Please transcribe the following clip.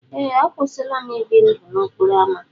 Ee, akwụsịla m ibi ndụ n'okporo ámá.